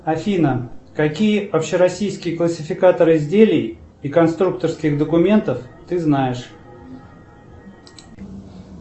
афина какие общероссийские классификаторы изделий и конструкторских документов ты знаешь